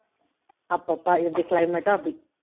அப்போ அப்போ எப்படி climate டோ அப்படி